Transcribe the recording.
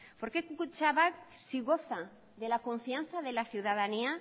por qué kutxabank si goza de la confianza de ciudadanía